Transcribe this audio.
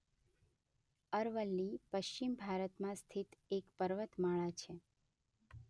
અરવલ્લી પશ્ચિમ ભારતમાં સ્થિત એક પર્વતમાળા છે.